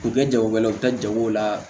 U bɛ kɛ jagokɛlaw ye u bɛ taa jago la